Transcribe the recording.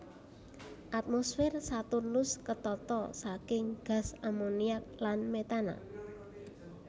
Atmosfer Saturnus ketata saking gas amoniak lan metana